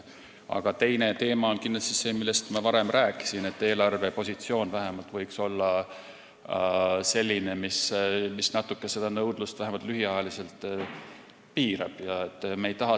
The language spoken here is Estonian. Aga teine teema on kindlasti see, millest ma varem rääkisin, et eelarvepositsioon võiks olla selline, mis seda nõudlust vähemalt lühiajaliselt natuke piirab.